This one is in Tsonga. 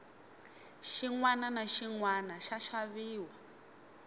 xinwana na xinwana xa xaviwa